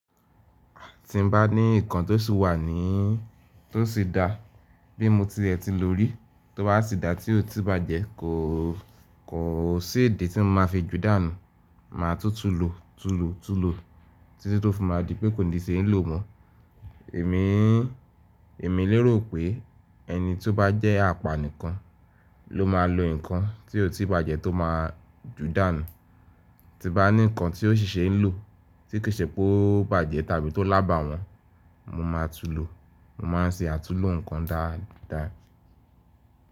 Ti n ba ni nkan to si wa ni, to si da bi mo ti e ti lori, to ba si da ti o ti ba je ko, ko si idi ti n ma fi ju danu. Ma tutulo, tulo, tulo, titi to fun mi adi pe ko ni se n lo mo. Emi, Emi lero pe eni ti o ba je apa nikan lo ma lo nkan ti o ti ba je to ma ju danu. Ti ba ni nkan ti o sise n lo ti kese po ba je tabi to laba won, mo ma tulo, mo ma n se atulo nkan daadaa.